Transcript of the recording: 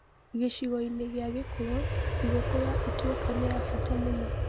Gĩcigo-inĩ gĩa gĩkũyũ, thigũkũ ya Ituĩka nĩ ya bata mũno.